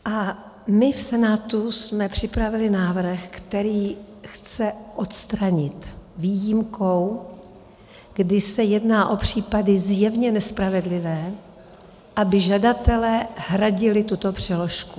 A my v Senátu jsme připravili návrh, který chce odstranit výjimkou, kdy se jedná o případy zjevně nespravedlivé, aby žadatelé hradili tuto přeložku.